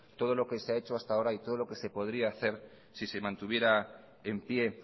todo lo que se ha hecho hasta ahora y todo lo que se podría hacer si se mantuviera en pie